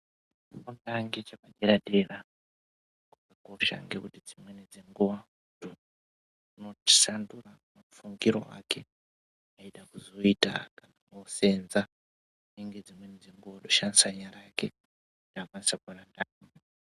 Chikora ngechepadera dera dzimweni dzenguva chinoshandura mafungire ake eida kuzoita zvekuseenza dzimweni dzenguva otoshandisa nyara dzake kuti akwanise kuona ndaramo.